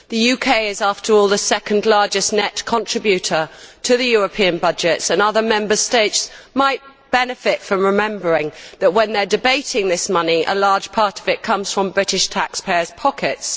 The UK is, after all, the second largest net contributor to the European budget, so other Member States might benefit from remembering, when they are debating this money, that a large part of it comes from British taxpayers' pockets.